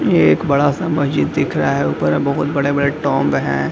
यह एक बड़ा सा मस्जिद दिख रहा है ऊपर में बहुत बड़े-बड़े है।